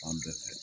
Fan bɛɛ fɛ